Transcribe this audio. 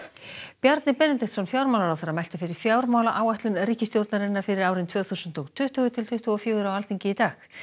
Bjarni Benediktsson fjármálaráðherra mælti fyrir fjármálaáætlun ríkisstjórnarinnar fyrir árin tvö þúsund og tuttugu til tuttugu og fjögur á Alþingi í dag